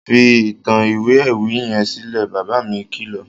Fi ìtàn ìwé ewì yẹn sílẹ̀! Bàbá mi kìlọ̀.